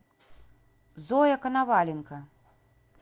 зоя коноваленко